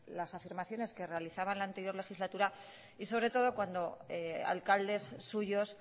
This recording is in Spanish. las afirmaciones que realizaba en la anterior legislatura y sobre todo cuando alcaldes suyos